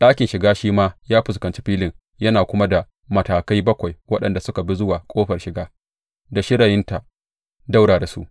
Ɗakin shiga shi ma ya fuskanci filin yana kuma da matakai bakwai waɗanda suka bi zuwa ƙofar shiga, da shirayinta ɗaura da su.